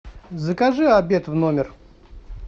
закажи обед в номер